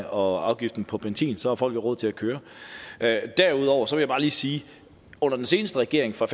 og afgiften på benzin så har folk jo råd til at køre derudover vil jeg bare lige sige at under den seneste regering fra